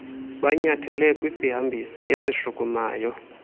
banyathele kwisihambisi esishukumayo